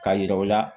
Ka yira u la